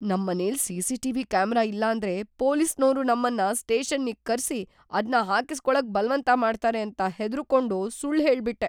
ನಮ್ಮನೆಲ್‌ CCTV. Camera ಇಲ್ಲಾಂದ್ರೆ ಪೊಲೀಸ್ನೋರು ನಮ್ಮನ್ನ ಸ್ಟೇಷನ್ನಿಗ್‌ ಕರ್ಸಿ ಅದ್ನ ಹಾಕಿಸ್ಕೊಳಕ್‌ ಬಲ್ವಂತ ಮಾಡ್ತಾರೆ ಅಂತ ಹೆದ್ರುಕೊಂಡು ಸುಳ್ಳ್‌ ಹೇಳ್ಬಿಟ್ಟೆ.